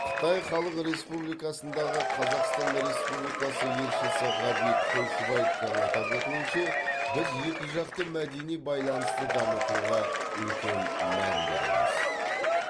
қытай халық республикасындағы қазақстан республикасы елшісі ғабит қойшыбаевтың атап өтуінше біз екіжақты мәдени байланысты дамытуға үлкен мән береміз